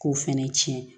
K'o fɛnɛ tiɲɛ